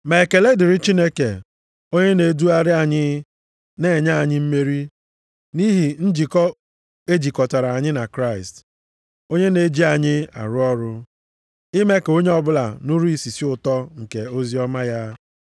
Ma ekele dịrị Chineke, onye na-edugharị anyị na-enye anyị mmeri, nʼihi njikọ e jikọtara anyị na Kraịst, onye na-eji anyị arụ ọrụ, ime ka onye ọbụla nụrụ isisi ụtọ nke oziọma ya.